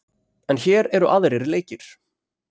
En hér eru aðrir leikir.